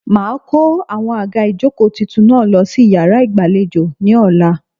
Màá a kó àwọn àga ìjókòó tuntun náà lo sí iyàrá ìgbàlejò ní ọ̀la